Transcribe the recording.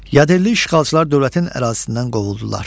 Yadelli işğalçılar dövlətin ərazisindən qovuldular.